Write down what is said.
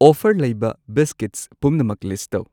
Offer ꯂꯩꯕ biscuits ꯄꯨꯝꯅꯃꯛ list ꯇꯧ꯫